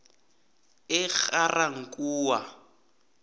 egarankuwa